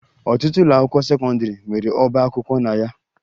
Ọtụtụ ụlọakwụkwọ sekọndịrị nwere ọba akwụkwọ na ya